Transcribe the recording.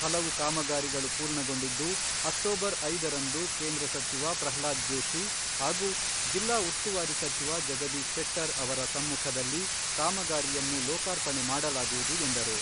ಹಲವು ಕಾಮಗಾರಿಗಳು ಪೂರ್ಣಗೊಂಡಿದ್ದು, ಅಕ್ಟೋಬರ್ ಐದರಂದು ಕೇಂದ್ರ ಸಚಿವ ಪ್ರಹ್ಲಾದ್ ಜೋಷಿ ಹಾಗೂ ಜಿಲ್ಲಾ ಉಸ್ತುವಾರಿ ಸಚಿವ ಜಗದೀಶ್ ಶೆಟ್ಟರ್ ಅವರ ಸಮ್ಮುಖದಲ್ಲಿ ಕಾಮಗಾರಿಯನ್ನು ಲೋಕಾರ್ಪಣೆ ಮಾಡಲಾಗುವುದು ಎಂದರು.